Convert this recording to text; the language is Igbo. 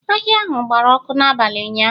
Ahịa ahụ gbara ọkụ n'abalị ụnyahụ